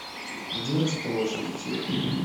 где расположен тир